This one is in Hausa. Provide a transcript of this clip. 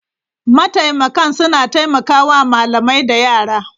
Mataimakan suna taimaka wa malamai da yara.